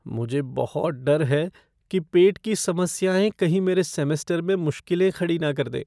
मुझे बहुत डर है कि पेट की समस्याएं कहीं मेरे सेमेस्टर में मुश्किलें ना खड़ी कर दें।